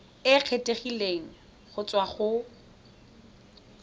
e kgethegileng go tswa go